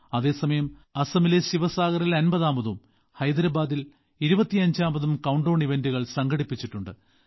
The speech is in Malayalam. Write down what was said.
അതേ സമയം അസമിലെ ശിവസാഗറിൽ 50ാമതും ഹൈദരാബാദിൽ 25ാമതും കൌണ്ട്ഡൌൺ ഇവന്റുകൾ സംഘടിപ്പിച്ചിട്ടുണ്ട്